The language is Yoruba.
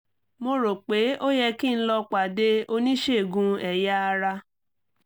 mo rò pé ó yẹ kí n lọ pàdé oníṣègùn ẹ̀yà ara